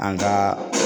An ka